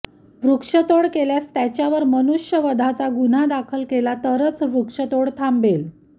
वृक्षतोड केल्यास त्याच्यावर मनुष्यवधाचा गुन्हा दाखल केला तरच वृक्षतोड थांबेल